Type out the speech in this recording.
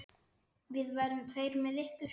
Við verðum tveir með ykkur.